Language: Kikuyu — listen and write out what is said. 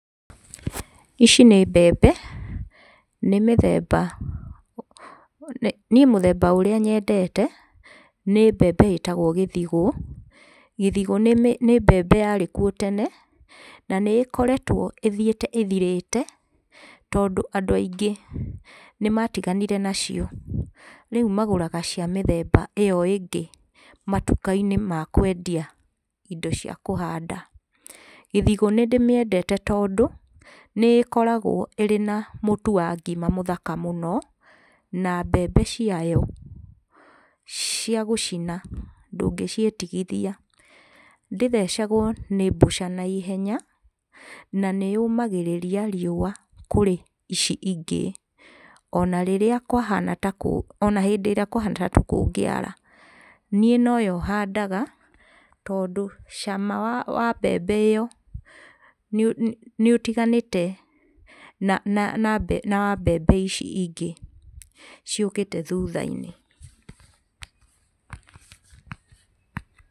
Ici nĩ mbembe, nĩ mĩthemba, niĩ mũthemba ũria nyendete nĩ mbembe ĩtagwo gĩthigu. Gĩthigu nĩ, nĩ mbembe yarĩ kuo tene na nĩ ĩkoretwo ĩthiĩte ĩthirĩte tondũ andũ aingĩ nĩmatiganire nacio rĩu magũraga ya mĩthemba ĩyo ĩngĩ matuka-inĩ ma kwendia indo cia kũhanda. Gĩthigu nĩndĩmĩendete tondũ nĩ ĩkoragwo ĩrĩ na mũtu wa ngima mũthaka mũno na mbembe ciayo cia gũcina ndũngĩciĩtigithia. Ndĩthecagwo nĩ mbũca naihenya na nĩ yũmagĩrĩria riũa kũrĩ ici ingĩ, ona rĩrĩa kwahana takũ ona hindi ĩrĩa kwahana ta kũngĩara, niĩ noyo handaga tondũ cama wa mbembe ĩyo nĩũtiganĩte na wa mbembe ici ingĩ ciũkĩte thutha-inĩ.